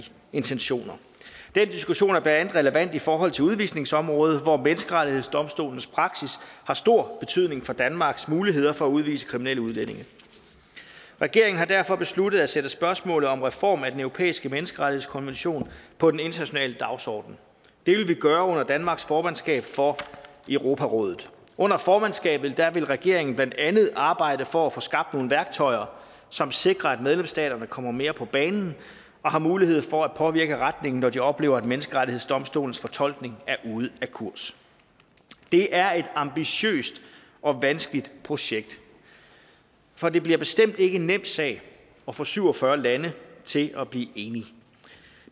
intentioner den diskussion er blandt andet relevant i forhold til udvisningsområdet hvor menneskerettighedsdomstolens praksis har stor betydning for danmarks muligheder for at udvise kriminelle udlændinge regeringen har derfor besluttet at sætte spørgsmålet om reform af den europæiske menneskerettighedskonvention på den internationale dagsorden det vil vi gøre under danmarks formandskab for europarådet under formandskabet vil regeringen blandt andet arbejde for at få skabt nogle værktøjer som sikrer at medlemsstaterne kommer mere på banen og har mulighed for at påvirke retningen når de oplever at menneskerettighedsdomstolens fortolkning er ude af kurs det er et ambitiøst og vanskeligt projekt for det bliver bestemt ikke en nem sag at få syv og fyrre lande til at blive enige